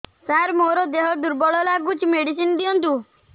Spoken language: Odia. ସାର ମୋର ଦେହ ଦୁର୍ବଳ ଲାଗୁଚି ମେଡିସିନ ଦିଅନ୍ତୁ